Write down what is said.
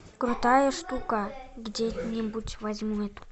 крутая штука где нибудь возьму эту